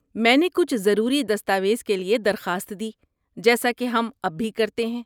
میں نے کچھ ضروری دستاویز کے لیے درخواست دی جیسا کہ ہم اب بھی کرتے ہیں۔